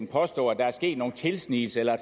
påstå at der er sket en tilsnigelse eller